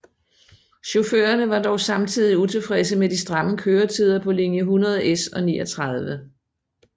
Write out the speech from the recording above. Chaufførerne var dog samtidig utilfredse med de stramme køretider på linje 100S og 39